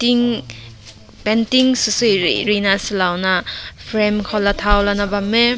ne painting sui rui rui sui lao na frame ko la thao na bam meh.